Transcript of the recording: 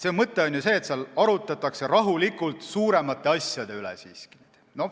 Mõte on ju see, et seal arutletakse rahulikult suuremate asjade üle.